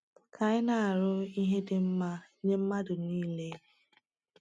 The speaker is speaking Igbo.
Ka anyị na-arụ ihe dị mma nye mmadụ niile.